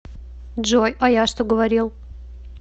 джой а я что говорил